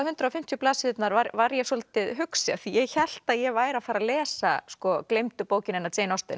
hundrað og fimmtíu blaðsíðurnar var var ég svolítið hugsi af því ég hélt að ég væri að fara að lesa gleymdu bókina hennar